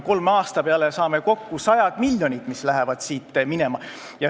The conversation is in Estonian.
Kolme aasta peale kokku lähevad siit minema sajad miljonid.